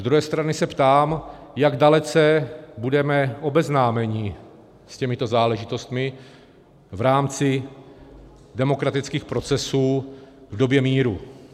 Z druhé strany se ptám, jak dalece budeme obeznámeni s těmito záležitostmi v rámci demokratických procesů v době míru.